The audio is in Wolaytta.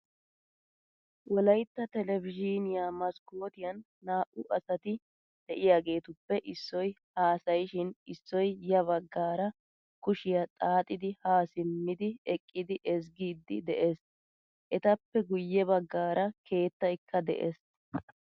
Wolaytta televzhiniyaa maskotiyan naa'u asati deiyagetuppe issoy haasayishin issoy ya baggaara kushshiyaa xaaxidi ha simmidi eqqidi ezggidi de'ees. Etappe guye baggaara keettaykka de'ees.